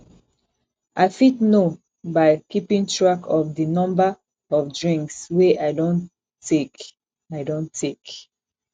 i fit know by keeping track of di number of drinks wey i don take i don take